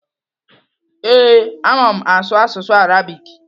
Ee, ama m asụ asụsụ Arabik.